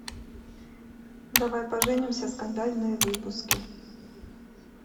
давай поженимся скандальные выпуски